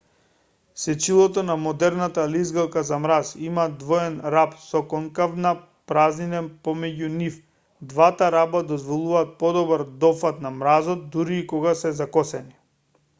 сечилото на модерната лизгалка за мраз има двоен раб со конкавна празнина помеѓу нив двата раба дозволуваат подобар дофат на мразот дури и кога се закосени